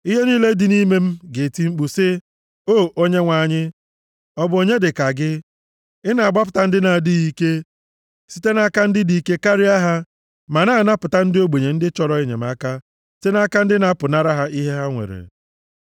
Ihe niile dị nʼime m ga-eti mkpu sị, “O Onyenwe anyị, ọ bụ onye dịka gị? Ị na-agbapụta ndị na-adịghị ike site nʼaka ndị dị ike karịa ha, ma na-anapụta ndị ogbenye ndị chọrọ enyemaka site nʼaka ndị na-apụnara ha ihe ha nwere nʼike.”